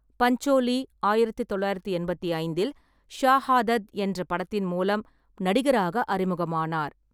பஞ்சோலி ஆயிரத்து தொள்ளாயிரத்து எண்பத்தி ஐந்தில் ஷாஹாதத் என்ற படத்தின் மூலம் நடிகராக அறிமுகமானார்.